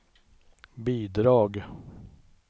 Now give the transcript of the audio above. bidrag